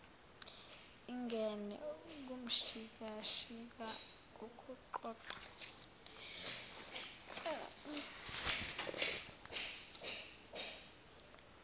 ingene kumshikashika wokuqoqwa